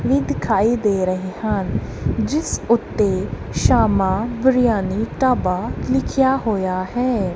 ਦਿਖਾਈ ਦੇ ਰਹੇ ਹਨ ਜਿਸ ਉੱਤੇ ਸ਼ਾਮਾਂ ਬਿਰਿਆਨੀ ਢਾਬਾ ਲਿਖਿਆ ਹੋਇਆ ਹੈ।